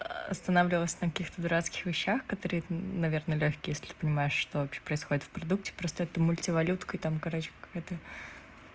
останавливалась на каких то дурацких вещах которые наверное лёгкие если понимает что происходит в продукте просто это в мультивалютной там короче какая-то